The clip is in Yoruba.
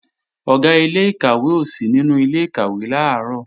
Ọ̀gá ilé-ìkàwé ò sí nínú ilé-ìkàwé làárọ̀